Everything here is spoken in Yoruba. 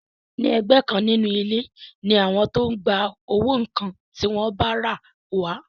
Ní ẹ̀gbẹ́ kan nínú ilé ni àwọn tó ń gba owó nǹkan tí wọ́n bá rà wà